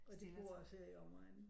Og de bor også her i omegnen